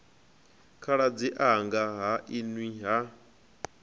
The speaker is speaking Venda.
khaladzi anga ha nwi ha